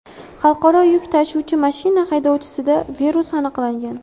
Xalqaro yuk tashuvchi mashina haydovchisida virus aniqlangan .